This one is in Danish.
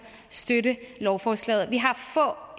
støtter lovforslaget vi har